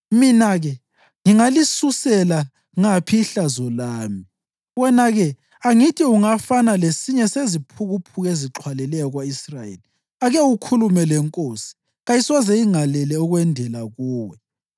Mina-ke? Ngingalisusela ngaphi ihlazo lami? Wena-ke? Angithi ungafana lesinye seziphukuphuku ezixhwalileyo ko-Israyeli. Ake ukhulume lenkosi, kayisoze ingalele ukwendela kuwe.”